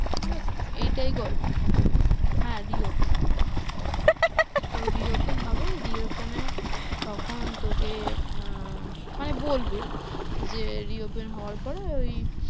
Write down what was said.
ঠিক আছে? এইটাই গল্প হ্যাঁ, reopen তো reopen হবে reopen হয়ে তখন তোকে আহ মানে বলবে যে reopen হওয়ার পর এই